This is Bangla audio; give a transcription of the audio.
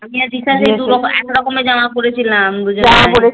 আমি আর দিশা যে দু রকম একরকম এর জামা পড়েছিলাম দুজনে জামা পড়ে